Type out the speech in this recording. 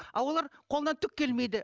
ал олар қолынан түк келмейді